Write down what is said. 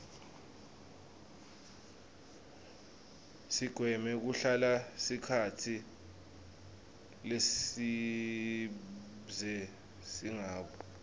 sigweme kuhlala sikhatsi lesibze singabu